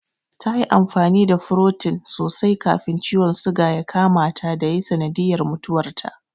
Ta yi amfani da furotin sosai kafin ciwon suga ya kamata da ya yi sanadiyar mutuwarta.